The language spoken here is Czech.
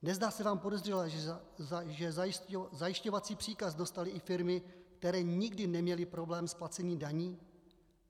Nezdá se vám podezřelé, že zajišťovací příkaz dostaly i firmy, které nikdy neměly problém s placením daní?